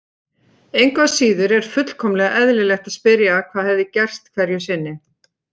Engu að síður er fullkomlega eðlilegt að spyrja hvað hefði gerst hverju sinni.